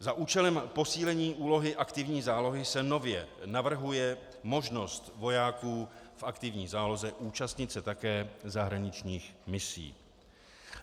Za účelem posílení úlohy aktivní zálohy se nově navrhuje možnost vojáků v aktivní záloze účastnit se také zahraničních misí.